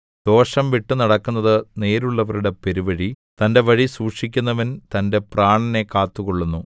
ദോഷം വിട്ടുനടക്കുന്നത് നേരുള്ളവരുടെ പെരുവഴി തന്റെ വഴി സൂക്ഷിക്കുന്നവൻ തന്റെ പ്രാണനെ കാത്തുകൊള്ളുന്നു